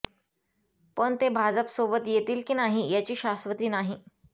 पण ते भाजपसोबत येतील की नाही याची शाश्वती नाही